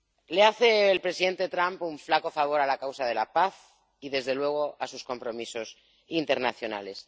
Le hace el presidente Trump un flaco favor a la causa de la paz y, desde luego, a sus compromisos internacionales.